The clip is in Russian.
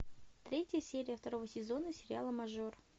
третья серия второго сезона сериала мажор